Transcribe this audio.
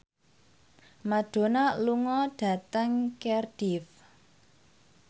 Madonna lunga dhateng Cardiff